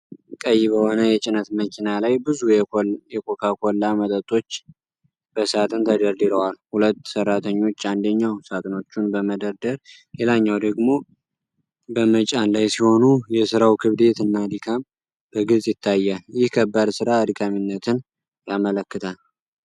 ቀይ በሆነ የጭነት መኪና ላይ ብዙ የኮካ ኮላ መጠጦች በሳጥን ተደርድረዋል። ሁለት ሠራተኞች፣ አንደኛው ሳጥኖቹን በመደርደር ሌላኛው ደግሞ በመጫን ላይ ሲሆኑ፣ የሥራው ክብደት እና ድካም በግልጽ ይታያል። ይህ ከባድ ሥራ አድካሚነትን ያመለክታል።